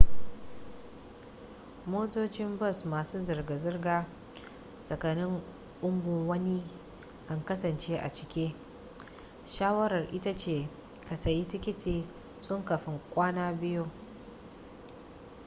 motocin bus masu zirga-zirga tsakanin unguwanni kan kasance a cike shawara ita ce ka sayi tikiti tun kafin kwana biyu